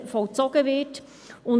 So schnell kann es gehen.